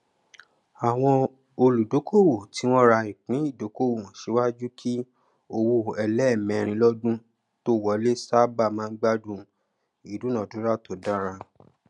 àwọn olùdókòwò tí wọn ra ìpín ìdókòwò síwájú kí owó ẹlẹẹmẹrin lọdún tó wọlé sáábà máa gbádùn ìdúnádúrà tó dára